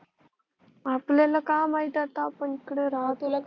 आपल्याला का माहित आता आपण इकड राहतो